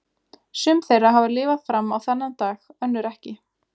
Sum þeirra hafa lifað fram á þennan dag, önnur ekki.